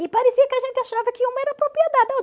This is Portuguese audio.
E parecia que a gente achava que uma era propriedade